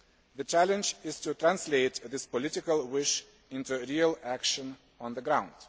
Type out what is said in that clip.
The challenge is to translate this political wish into real action on the ground.